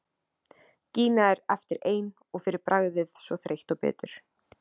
Gína er eftir ein og fyrir bragðið svo þreytt og bitur.